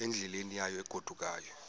endleleni yayo egodukayo